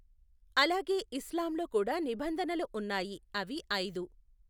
అలాగే ఇస్లాం లో కూడా నిబంధనలు ఉన్నాయి అవి ఐదు.